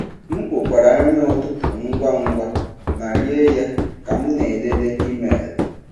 M kpokwara nri ụtụtụ ngwa ngwa ma rie ya ka m na-elele email.